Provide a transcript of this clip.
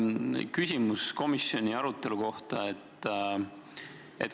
Küsimus on komisjoni arutelu kohta.